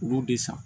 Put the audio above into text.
U b'u de san